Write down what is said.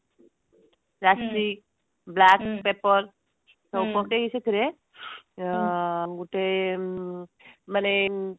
ରାଶି black paper ଟାକୁ ପକେଇକି ସେଥିରେ ଗୋଟେ ମାନେ